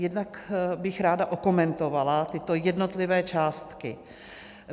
Jednak bych ráda okomentovala tyto jednotlivé částky.